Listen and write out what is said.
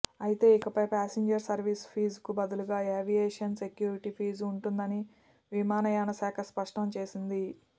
అయితే ఇకపై passenger service ఫీజుకు బదులుగా ఏవియేషన్ సెక్యూరిటీ ఫీజు ఉంటుందని విమానయానశాఖ స్పష్టం చేసింది